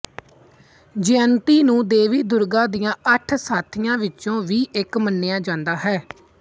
ਜਯੰਤੀ ਨੂੰ ਦੇਵੀ ਦੁਰਗਾ ਦੀਆਂ ਅੱਠ ਸਾਥੀਆਂ ਵਿਚੋਂ ਵੀ ਇੱਕ ਮੰਨਿਆ ਜਾਂਦਾ ਹੈ